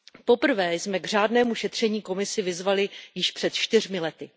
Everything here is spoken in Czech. Poprvé jsme k řádnému šetření Komisi vyzvali již před čtyřmi lety.